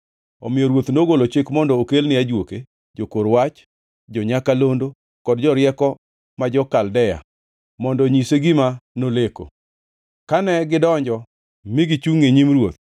Omiyo ruoth nogolo chik mondo okelne ajuoke, jokor wach, jo-nyakalondo kod jorieko ma jo-Kaldea mondo onyise gima noleko. Kane gidonjo mi gichungʼ e nyim ruoth,